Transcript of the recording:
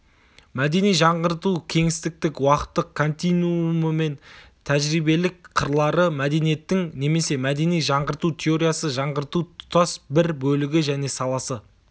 мәдени жаңғырту кеңістіктік-уақыттық континуумы мен тәжірибелік қырлары мәдениеттің немесе мәдени жаңғырту теориясы жаңғырту тұтас бір бөлігі және саласы